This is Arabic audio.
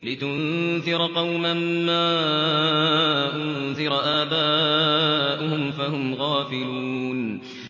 لِتُنذِرَ قَوْمًا مَّا أُنذِرَ آبَاؤُهُمْ فَهُمْ غَافِلُونَ